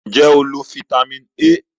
Nje o lo Fítàmì A?